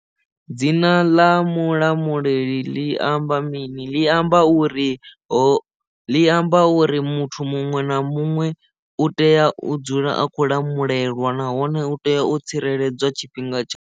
Dzina ḽa Mulamuleli ḽi amba mini ḽi amba uri ho ḽi amba uri muthu muṅwe na muṅwe u tea u dzula a khou lamulelwa nahone u tea u tsireledzwa tshifhinga tsha.